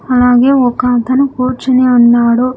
అలాగే ఒక అతను కూర్చొని ఉన్నాడు.